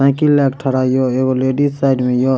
Cycle लेके ठरा हियो एगो लेडीज साइड में हियो।